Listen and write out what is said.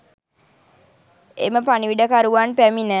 එම පණිවිඩකරුවන් පැමිණ